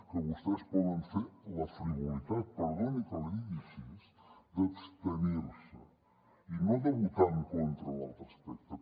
que vostès poden fer la frivolitat perdoni que l’hi digui així d’abstenir se i no de votar en contra en l’altre aspecte